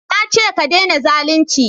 na ce ka dena zalunci!